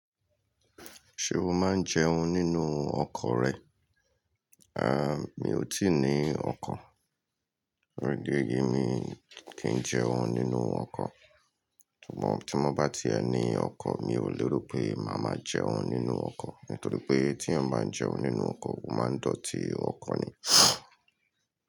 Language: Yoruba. Ṣé o máa ń jẹun nínú ọkọ̀ rẹ? À, mi ò tíì ní ọkọ̀. Fún ìdí èyí, mi kì ń jẹun nínú ọkọ̀. Ṣùgbọ́n tí mo bá ti ẹni ọkọ̀, mi ò lérò pé màá máa jẹun nínú ọkọ̀. Nítorí pé tí èyàn bá ń jẹun nínú ọkọ̀, o máa ń dọ̀tí ọkọ̀ ni.